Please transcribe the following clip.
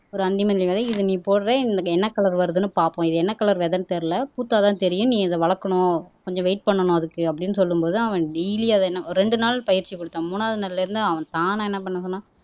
ஒரு அந்தி மல்லி விதை இதை நீ போடுற என்ன கலர் வருதுன்னு பார்ப்போம் இது என்ன கலர் விதைன்னு தெரியலே பூத்தாதான் தெரியும் நீ அதை வளர்க்கணும் கொஞ்சம் வெயிட் பண்ணணும் அதுக்கு அப்படின்னு சொல்லும் போது அவன் டெய்லி அதை ரெண்டு நாள் பயிற்சி கொடுத்தான் மூணாவது நாள்ல இருந்து அவன் தானா என்ன பண்ண சொன்னான்